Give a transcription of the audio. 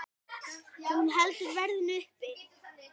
Hún heldur verðinu uppi.